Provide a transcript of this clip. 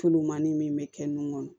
Tulumani min bɛ kɛ nun kɔnɔ